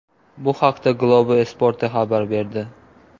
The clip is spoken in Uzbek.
Bu haqda Globo Esporte xabar berdi .